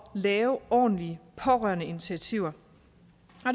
lave ordentlige pårørendeinitiativer